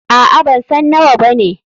Aa, bansan nawa bane.